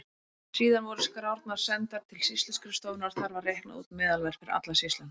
Síðan voru skrárnar sendar til sýsluskrifstofunnar og þar var reiknað út meðalverð fyrir alla sýsluna.